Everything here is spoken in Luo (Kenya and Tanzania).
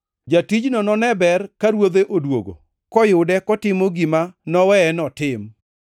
Jatijno none ber ka ruodhe odwogo to noyude kotimo gima noweye notim.